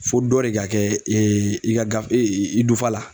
Fo dɔ de ka kɛ i ka ga i dufa la.